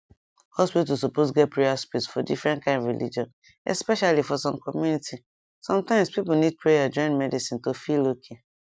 hospital suppose get prayer space for different kind religion especially for some community sometimes people need prayer join medicine to feel okay